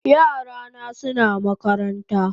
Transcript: Yara na suna makaranta